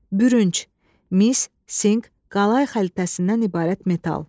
Bürünc, mis, sink, qalay xəlitəsindən ibarət metal.